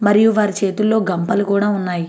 మరియు వారి చేతుల్లో గంపలు కూడా ఉన్నాయి.